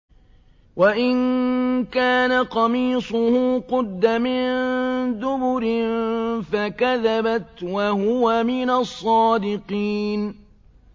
وَإِن كَانَ قَمِيصُهُ قُدَّ مِن دُبُرٍ فَكَذَبَتْ وَهُوَ مِنَ الصَّادِقِينَ